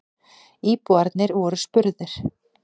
Íbúarnir voru spurðir.